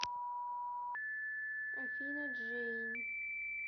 афина джейн